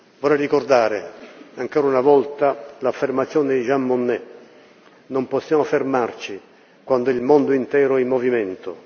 Vorrei ricordare, ancora una volta, l'affermazione di Jean Monnet Non possiamo fermarci quando il mondo intero è in movimento.